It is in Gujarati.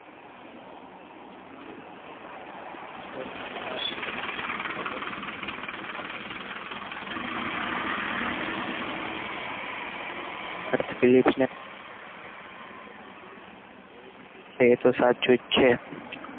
જંગલને કહ્યું મને લાગે છે કે તમે દેશ દુનિયા જોઈ રહ્યા છો ખરું ને તે palace ને કહે છે. કે તમે બધી દેશ દુનિયા જોઈ લીધી છે તો સાચું જ છે.